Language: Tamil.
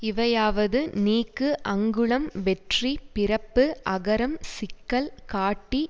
இவையாவது நீக்கு அங்குளம் வெற்றி பிறப்பு அகரம் சிக்கல் காட்டி